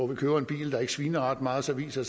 man køber en bil der ikke sviner ret meget og så viser